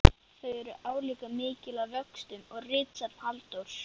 Þau eru álíka mikil að vöxtum og ritsafn Halldórs